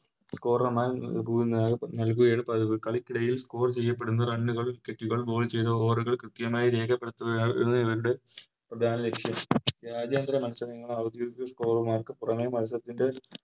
Scorer മാർ നല്കിയിരിക്കും ഈ കളിക്കിടയിൽ Score ചെയ്യപ്പെടുന്ന Run കൾ Wicket ചെയ്ത Over കൾ കൃത്യമായി രേഖപ്പെടുത്തുകയായിരുന്നു ഇവരുടെ പ്രധാന ലക്ഷ്യം രാജ്യന്തര മത്സരങ്ങൾ ഔദ്യോഗിക Scorer മാർക്ക് പുറമെ മത്സരത്തിൻറെ